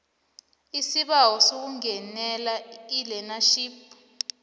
isibawo sokungenela ilearnership